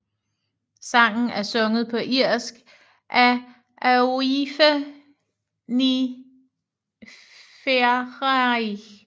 Sangen er sunget på irsk af Aoife Ní Fhearraigh